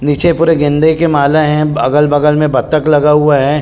निचे पुरे गेंदे के माला है अगल-बगल में बत्तक लगा हुआ है।